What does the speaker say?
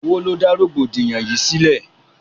Owó ló dá rọ̀gbọ̀dìyàn yìí sílẹ̀.